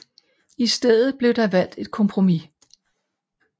I stedet blev der valgt et kompromis